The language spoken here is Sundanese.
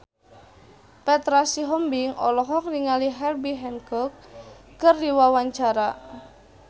Petra Sihombing olohok ningali Herbie Hancock keur diwawancara